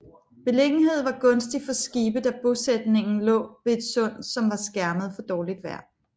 Beliggenheden var gunstig for skibe da bosætningen lå ved et sund som var skærmet for dårligt vejr